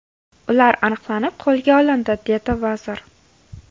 Ular aniqlanib, qo‘lga olindi”, dedi vazir.